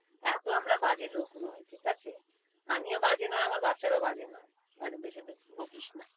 এত আমরা বাজে লোক নয় ঠিকাছে। আমিও বাজে নয় আমার বাচ্চারাও বাজে নয়। আর বে~বেশি বকিস না।